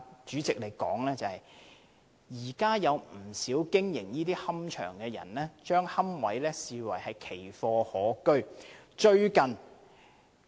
主席，現時不少龕場經營者將龕位視為奇貨可居。